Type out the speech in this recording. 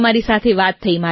તમારી સાથે વાત થઈ મારી